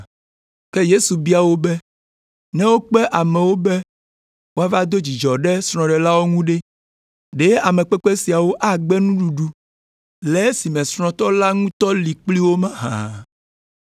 Ke Yesu bia wo be, “Ne wokpe amewo be woava do dzidzɔ ɖe srɔ̃ɖelawo ŋu ɖe, ɖe amekpekpe siawo agbe nuɖuɖu le esime srɔ̃tɔ la ŋutɔ li kpli wo mahã?